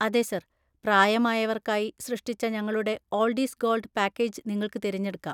അതെ, സർ. പ്രായമായവർക്കായി സൃഷ്ടിച്ച ഞങ്ങളുടെ 'ഓൾഡ് ഈസ് ഗോൾഡ്' പാക്കേജ് നിങ്ങൾക്ക് തിരഞ്ഞെടുക്കാം.